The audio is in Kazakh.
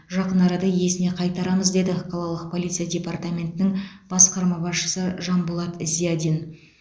жақын арада иесіне қайтарамыз деді қалалық полиция департаментінің басқарма басшысы жанболат зиадин